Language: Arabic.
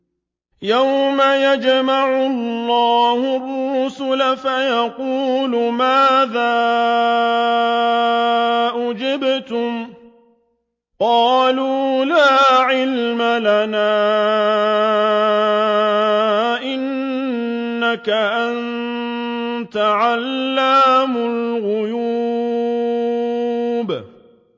۞ يَوْمَ يَجْمَعُ اللَّهُ الرُّسُلَ فَيَقُولُ مَاذَا أُجِبْتُمْ ۖ قَالُوا لَا عِلْمَ لَنَا ۖ إِنَّكَ أَنتَ عَلَّامُ الْغُيُوبِ